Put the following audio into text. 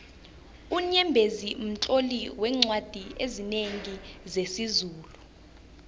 unyembezi mtloli weencwadi ezinengi zesizulu